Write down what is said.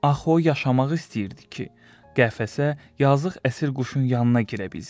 Axı o yaşamaq istəyirdi ki, qəfəsə yazıq əsir quşun yanına girə bilsin.